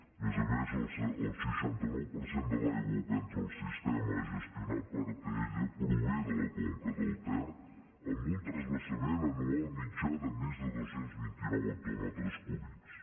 a més a més el seixanta nou per cent de l’aigua que entra al sistema gestionat per atll prové de la conca del ter amb un transvasament anual mitjà de més de dos cents i vint nou hectòmetres cúbics